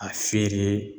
A feere